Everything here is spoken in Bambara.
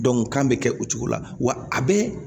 kan bɛ kɛ o cogo la wa a bɛ